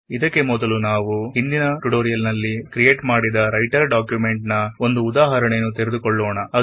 ಇದಕ್ಕೆಮೊದಲು writer document ನ ಒಂದು ಉದಾಹರಣೆಯನ್ನು ತೆಗೆದುಕೊಳ್ಳೋಣ